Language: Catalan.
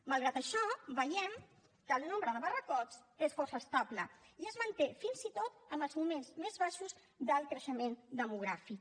malgrat això veiem que el nombre de barracons és força estable i es manté fins i tot en els moments més baixos del creixement demogràfic